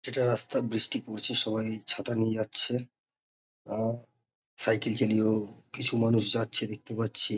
যেটা রাস্তা বৃষ্টি পরছে সবাই ছাতা নিয়ে যাচ্ছে। আহ সাইকেল চালিয়েও কিছু মানুষ যাচ্ছে দেখতে পাচ্ছি।